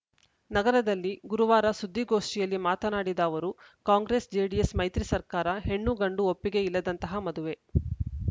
ನಗರದಲ್ಲಿ ಗುರುವಾರ ಸುದ್ದಿಗೋಷ್ಠಿಯಲ್ಲಿ ಮಾತನಾಡಿದ ಅವರು ಕಾಂಗ್ರೆಸ್‌ ಜೆಡಿಎಸ್‌ ಮೈತ್ರಿ ಸರ್ಕಾರ ಹೆಣ್ಣುಗಂಡು ಒಪ್ಪಿಗೆ ಇಲ್ಲದಂತಹ ಮದುವೆ